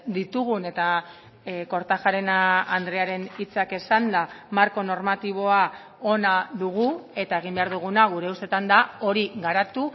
ditugun eta kortajarena andrearen hitzak esanda marko normatiboa ona dugu eta egin behar duguna gure ustetan da hori garatu